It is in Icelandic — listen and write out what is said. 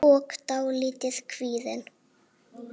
og dálítið kvíðin.